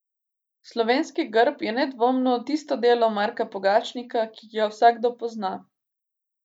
Slovenski grb je nedvomno tisto delo Marka Pogačnika, ki ga vsakdo pozna.